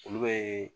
Olu bɛ